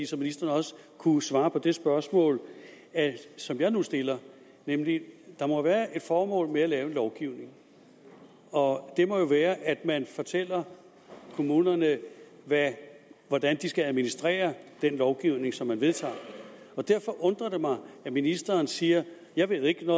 så ministeren også kunne svare på det spørgsmål som jeg nu stiller der må være et formål med at lave en lovgivning og det må jo være at man fortæller kommunerne hvordan de skal administrere den lovgivning som man vedtager og derfor undrer det mig at ministeren siger jeg ved ikke